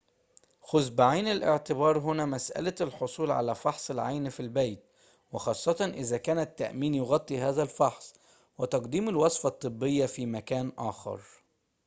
خذ بعين الاعتبار هنا مسألة الحصول على فحص العين في البيت وخاصةً إذا كان التأمين يغطي هذا الفحص وتقديم الوصفة الطبية في مكان آخر